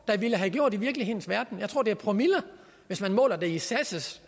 der ville have gjort i virkelighedens verden jeg tror det er promiller hvis man måler det i sas